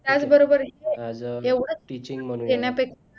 त्याचबरोबर ही एक एवढाच देण्यापेक्षा